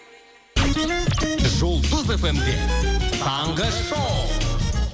жұлдыз фм де таңғы шоу